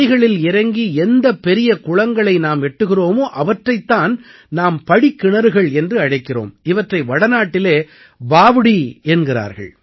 படிகளில் இறங்கி எந்தப் பெரிய குளங்களை நாம் எட்டுகிறோமோ அவற்றைத் தான் நாம் படிக்கிணறுகள் என்று அழைக்கிறோம் இவற்றை வடநாட்டிலே பாவ்டீ என்கிறார்கள்